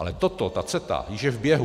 Ale toto, ta CETA, už je v běhu.